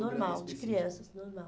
Normal, de crianças, normal.